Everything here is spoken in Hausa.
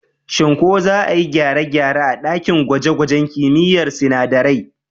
Shin ko za a yi gyare-gyare a ɗakin gwaje-gwajen kimiyyar sinadarai?